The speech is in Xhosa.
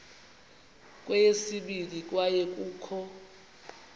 kweyesibini kwaye kukho